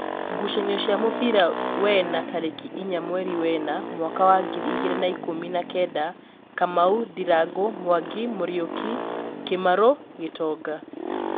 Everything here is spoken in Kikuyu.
ngucanio cia mũbira wena tarĩki inya mweri wena mwaka wa ngiri igĩrĩ na ikũmi na Kenda: Kamau, ndirangũ, Mwangi, Muriuki, kimarũ Gitonga